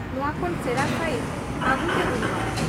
ᱱᱚᱶᱟ ᱠᱷᱚᱱ ᱥᱮᱬᱟ ᱥᱟᱭᱤᱡᱽ ᱟᱹᱜᱩᱛᱮ ᱦᱩᱭᱩᱜ ᱟ ᱾